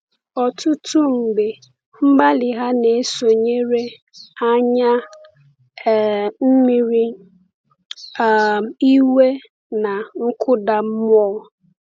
Ọtụtụ mgbe, mgbalị ha na-esonyere anya um mmiri, um iwe, na nkụda mmụọ.